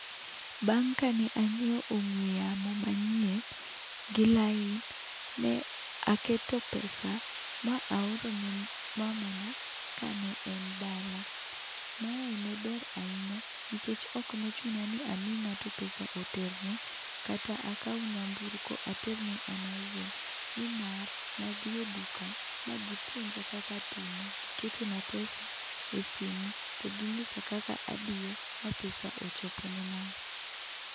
Bang ka ne ang'iewo ong'we yamo manyien gi lain ne aketo pesa ma aorone mamana ka ne en dala. mae ne ber ahinya nikech ne ok ochuno ni ami ng'ato pesa oterne kata akaw nyamburko aterne an awuon, ni mar ne adhi e duka ma gi puonja kaka atimo, giketo na pesa e simo to gi ng'isa kaka adiyo e simo ma pesa ochopo ne mama.